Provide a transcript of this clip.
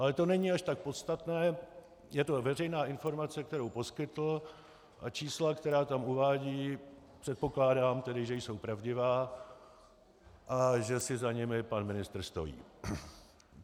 Ale to není až tak podstatné, je to veřejná informace, kterou poskytl, a čísla, která tam uvádí, předpokládám tedy, že jsou pravdivá a že si za nimi pan ministr stojí.